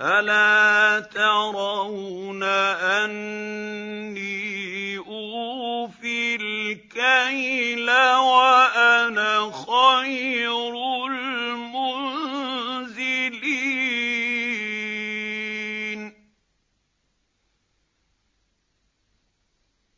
أَلَا تَرَوْنَ أَنِّي أُوفِي الْكَيْلَ وَأَنَا خَيْرُ الْمُنزِلِينَ